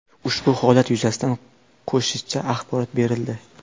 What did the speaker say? Ushbu holat yuzasidan qo‘shicha axborot berildi.